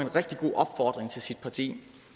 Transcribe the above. rigtig god opfordring til sit parti